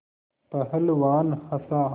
पहलवान हँसा